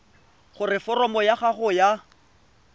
gore foromo ya gago ya